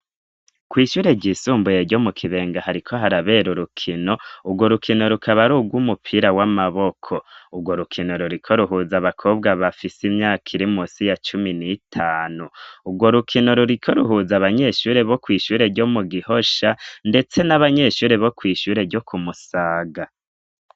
Kw'ishure ryisumbuye ryo mu Kibenga hariko harabera urukino, urwo rukino rukaba ari urwo umupira w'amaboko. Urwo rukino ruriko ruhuza abakobwa bafise imyaka irimusi ya cumi n'itanu, urwo rukino ruriko ruhuza abanyeshure bo kw'ishure ryo mu Gihosha ndetse n'abanyeshure bo kw'ishure ryo ku Musaga.